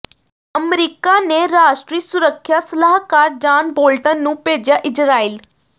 America ਨੇ ਰਾਸ਼ਟਰੀ ਸੁਰੱਖਿਆ ਸਲਾਹਕਾਰ ਜਾਨ ਬੋਲਟਨ ਨੂੰ ਭੇਜਿਆ ਇਜ਼ਰਾਈਲ